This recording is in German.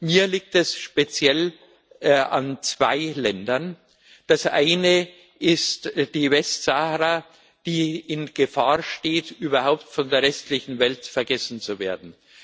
Mir liegt speziell an zwei Ländern Das eine ist die Westsahara, die in Gefahr steht überhaupt von der restlichen Welt vergessen zu werden.